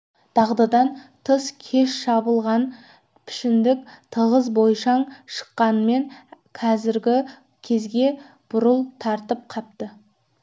дағдыдан тыс кеш шабылған пішіндік тығыз бойшаң шыққанмен қазіргі күзге бурыл тартып қапты